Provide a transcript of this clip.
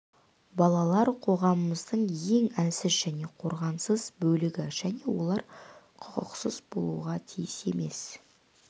балалар қоғамымыздың ең әлсіз және қорғансыз бөлігі және олар құқықсыз болуға тиіс емес